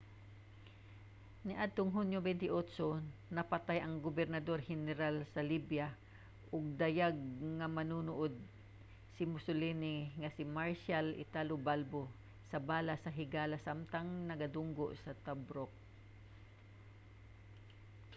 niadtong hunyo 28 napatay ang gobernador-heneral sa libya ug dayag nga manununod ni mussolini nga si marshall italo balbo sa bala sa higala samtang nagadunggo sa tobruk